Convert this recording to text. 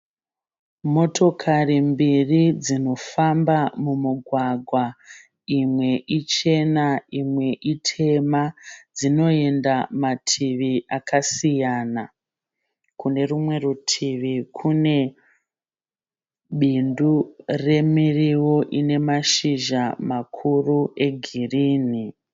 Motokari mbiri dzinofamba mumugwagwa imwe ichena imwe itema dzinoenda mativi akasiyana kune rumwe rutivi kune bindu remiriwo ine mashizha makuru egirini.